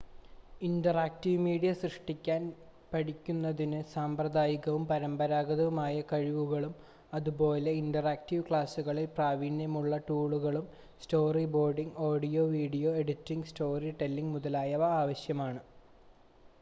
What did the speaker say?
interactive media സൃഷ്‌ടിക്കാൻ പഠിക്കുന്നതിന് സാമ്പ്രദായികവും പരമ്പരാഗതവുമായ കഴിവുകളും അതുപോലെ ഇന്ററാക്റ്റീവ് ക്ലാസുകളിൽ പ്രാവീണ്യമുള്ള ടൂളുകളും storyboarding audio video editing story telling മുതലായവ ആവശ്യമാണ്